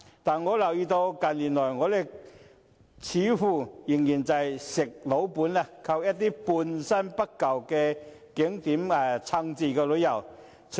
但我留意到，近年來，我們似乎仍在"吃老本"，靠一些半新不舊的景點支撐着旅遊業。